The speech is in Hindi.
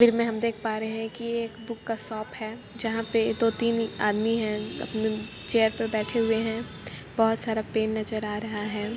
में हम देख पा रहे हैक की एक बुक का शॉप है जहा पे दो तीन आदमी हैअपने चेयर पे बैठे हुए है।